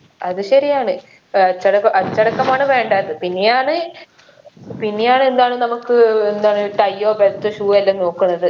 അത് ശരിയാണ് ഏർ അച്ചട അച്ചടക്കമാണ് വേണ്ടത് പിന്നെയാണ് പിന്നെയാണ് എന്താണ് നമുക്ക് എന്താണ് tie ഓ belt ഓ shoe എല്ലം നോക്കുന്നത്